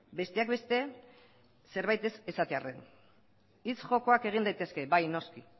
besteak beste zerbaitek ez esatearren hitz jokoak egin daitezke bai noski